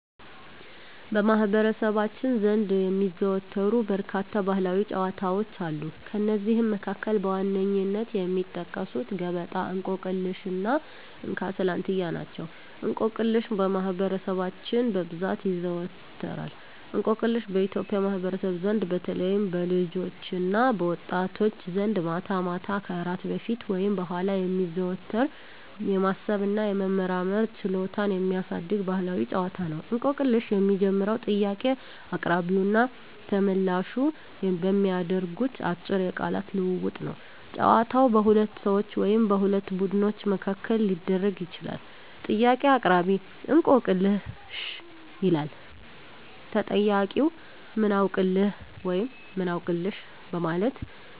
በማኅበረሰባችን ዘንድ የሚዘወተሩ በርካታ ባሕላዊ ጨዋታዎች አሉ። ከእነዚህም መካከል በዋነኝነት የሚጠቀሱት ገበጣ፣ እንቆቅልሽ እና እንካ ስላንትያ ናቸው። እንቆቅልሽ በማህበረሰባችን በብዛት ይዘዎተራል። እንቆቅልሽ በኢትዮጵያ ማኅበረሰብ ዘንድ በተለይም በልጆችና በወጣቶች ዘንድ ማታ ማታ ከእራት በፊት ወይም በኋላ የሚዘወተር፣ የማሰብ እና የመመራመር ችሎታን የሚያሳድግ ባሕላዊ ጨዋታ ነው። እንቆቅልሽ የሚጀምረው ጥያቄ አቅራቢውና ተመልላሹ በሚያደርጉት አጭር የቃላት ልውውጥ ነው። ጨዋታው በሁለት ሰዎች ወይም በሁለት ቡድኖች መካከል ሊደረግ ይችላል። ጥያቄ አቅራቢ፦ "እንቆቅልህ/ሽ?" ይላል። ተጠያቂው፦ "ምን አውቅልህ?" (ወይም "አውቅልሽ") በማለት